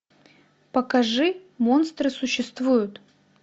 покажи монстры существуют